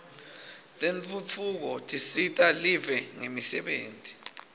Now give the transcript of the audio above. tentfutfuko tisita live ngemisebenti